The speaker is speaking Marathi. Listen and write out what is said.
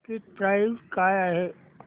टिकीट प्राइस काय आहे